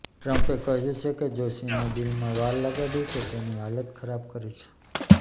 ટ્રંપે કહ્યું છે કે જો ચીને ડીલમાં વાર લગાડી તો તેની હાલત ખરાબ કરીશ